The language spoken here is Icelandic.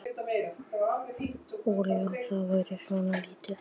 Setjið olíuna í pott ásamt karríinu og látið krauma.